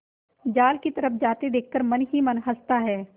जाल की तरफ जाते देख कर मन ही मन हँसता है